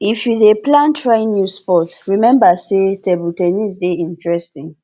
if you dey plan try new sport rememba sey table ten nis dey interesting